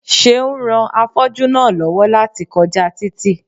Seun ran afọ́jú náà lọ́wọ́ láti kọjá títì